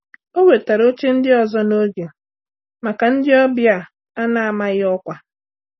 O wetara oche ndị ọzọ na oge maka ndị ọbịa a na-amaghị ọkwa.